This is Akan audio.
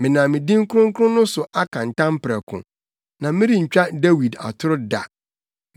Menam me din kronkron no so aka ntam prɛko, na merentwa Dawid atoro da,